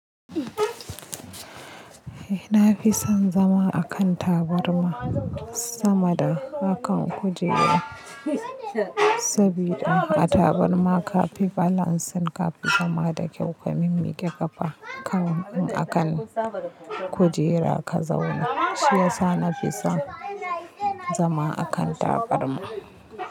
Eh, na fi son zama a kan tabarma sama da akan kujera. Sabida a tabarma ka fi balancing, ka fi zama da kyau. Ka mimmike kafa kan in a kan kujera ka zauna. Shi yasa na fi son zama a kan tabarma.